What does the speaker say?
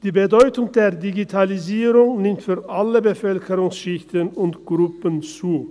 Die Bedeutung der Digitalisierung nimmt für alle Bevölkerungsschichten und -gruppen zu.